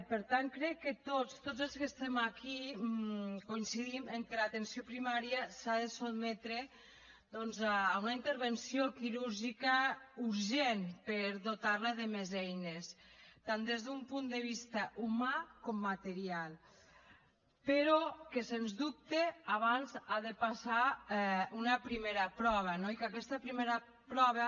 per tant crec que tots tots els que estem aquí coincidim que l’atenció primària s’ha de sotmetre doncs a una intervenció quirúrgica urgent per dotar la de més eines tant des d’un punt de vista humà com material però que sens dubte abans ha de passar una primera prova no i que aquesta primera prova